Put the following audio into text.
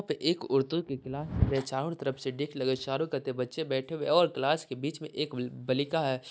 पे एक औरतों के क्लास में चारों तरफ से डेक्स लगे चारो कते बच्चे बैठे हुए और क्लास के बीच में एक ब बलिका हे।